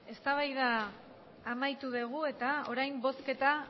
eztabaida amaitu dugu eta orain bozketa